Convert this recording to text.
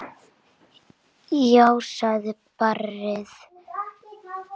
Já, sagði barnið.